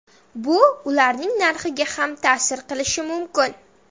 Bu ularning narxiga ham ta’sir qilishi mumkin.